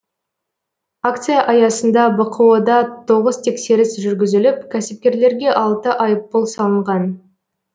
акция аясында бқо да тоғыз тексеріс жүргізіліп кәсіпкерлерге алты айыппұл салынған